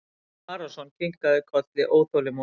Jón Arason kinkaði kolli óþolinmóður.